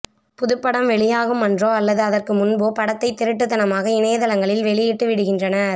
புதுப்படம் வெளியாகும் அன்றோ அல்லது அதற்கு முன்போ படத்தை திருட்டுத்தனமாக இணையதளங்களில் வெளியிட்டு விடுகின்றனர்